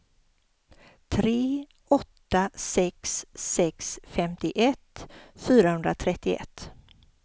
tre åtta sex sex femtioett fyrahundratrettioett